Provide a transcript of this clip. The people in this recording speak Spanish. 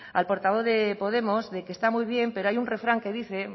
al portavoz de podemos de que está muy bien pero hay un refrán que dice